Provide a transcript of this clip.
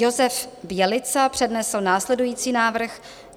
Josef Bělica přednesl následující návrh -